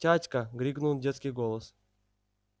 тятька крикнул детский голос